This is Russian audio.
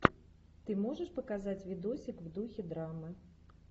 ты можешь показать видосик в духе драмы